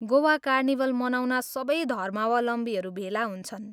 Goa carnival मनाउन सबै धर्मावलम्बीहरू भेला हुन्छन्।